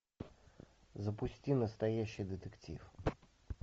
запусти настоящий детектив